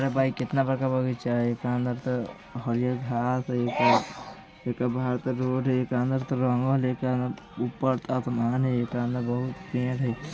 ये भाई कितना बड़का बगीचा हई एकरा अंदर त हरिहर घास हई एक बाहर त रोड हई एकरा अंदर त रंगल हई ऊपर आसमान हई एकरा अंदर त --